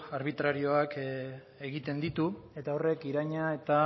arbitrarioak egiten ditu eta horrek iraina eta